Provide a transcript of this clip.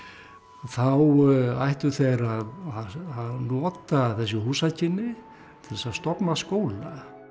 þá ættu þeir að nota þessi húsakynni til að stofna skóla